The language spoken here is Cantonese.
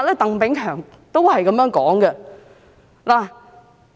鄧炳強也有相同的說法。